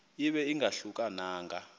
ibe ingahluka nanga